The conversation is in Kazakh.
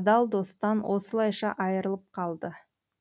адал достан осылайша айырылып қалды